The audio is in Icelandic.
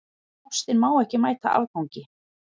Ástin má ekki mæta afgangi.